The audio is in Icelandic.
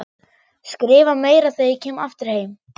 Skrifa meira þegar ég kem aftur heim.